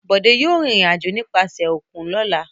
Bọ̀dé yóò rìnrìn-àjò nípasẹ̀ òkun lọ́la.